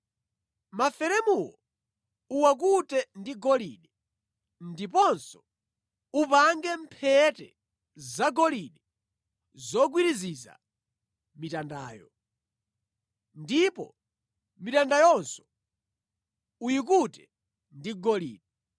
Maferemuwo uwakute ndi golide ndiponso upange mphete zagolide zogwiriziza mitandayo. Ndipo mitandayonso uyikute ndi golide.